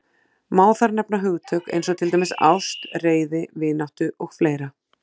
Má þar nefna hugtök eins og til dæmis ást, reiði, vináttu og fleira.